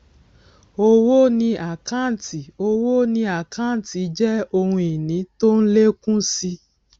owó ni àkáǹtì owó ni àkáǹtì jẹ ohun ìní tó ń lékún si